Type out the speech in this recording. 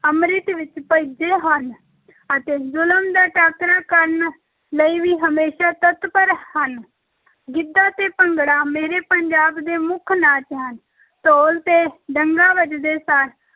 ਅੰਮ੍ਰਿਤ ਵਿੱਚ ਭਿੱਜੇ ਹਨ ਅਤੇ ਜ਼ੁਲਮ ਦਾ ਟਾਕਰਾ ਕਰਨ ਲਈ ਵੀ ਹਮੇਸ਼ਾ ਤੱਤਪਰ ਹਨ ਗਿੱਧਾ ਤੇ ਭੰਗੜਾ ਮੇਰੇ ਪੰਜਾਬ ਦੇ ਮੁੱਖ ਨਾਚ ਹਨ, ਢੋਲ ‘ਤੇ ਡੱਗਾ ਵੱਜਦੇ ਸਾਰ